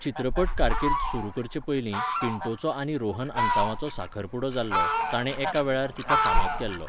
चित्रपट कारकीर्द सुरू करचे पयलीं पिंटोचो आनी रोहन आंतांवाचो साखरपुडो जाल्लो, ताणे एका वेळार तिका फामाद केल्लो.